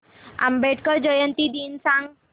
आंबेडकर जयंती दिन सांग